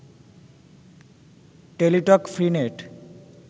Teletalk free net